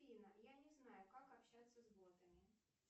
афина я не знаю как общаться с ботами